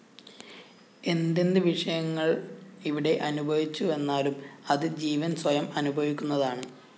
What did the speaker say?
എന്തെന്ത് വിഷയങ്ങള്‍ ഇവിടെ അനുഭവിച്ചുവെന്നാലും അത് ജീവന്‍ സ്വയം അനുഭവിക്കുന്നതാണ്